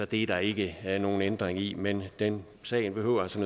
det er der ikke nogen ændringer i men sagen sagen behøver altså